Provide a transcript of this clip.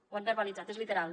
ho han verbalitzat és literal